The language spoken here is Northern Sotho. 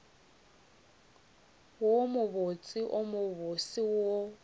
wo mobotse wo mobose wo